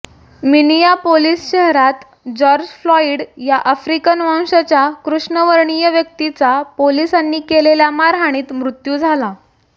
Minneapolis शहरात George Floyd या African वंशाच्या कृष्णवर्णीय व्यक्तीचा पोलिसांनी केलेल्या मारहाणीत मृत्यू झाला